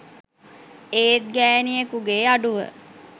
ඒත් ගෑණියෙකුගෙ අඩුව